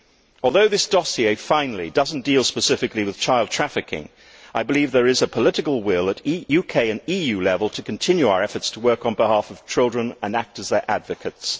Although this dossier finally does not deal specifically with child trafficking, I believe there is a political will at UK and EU level to continue our efforts to work on behalf of children and act as their advocates